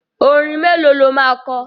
Orin mélòó lo máa kọ?